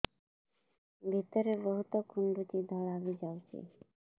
ଭିତରେ ବହୁତ କୁଣ୍ଡୁଚି ଧଳା ବି ଯାଉଛି